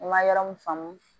N ma yɔrɔ min faamu